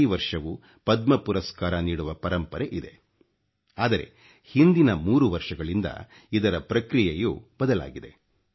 ಪ್ರತಿ ವರ್ಷವೂ ಪದ್ಮ ಪುರಸ್ಕಾರ ನೀಡುವ ಪರಂಪರೆ ಇದೆ ಆದರೆ ಹಿಂದಿನ 3 ವರ್ಷಗಳಿಂದ ಇದರ ಪ್ರಕ್ರಿಯೆಯು ಬದಲಾಗಿದೆ